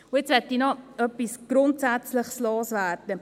Und jetzt möchte ich noch etwas Grundsätzliches loswerden.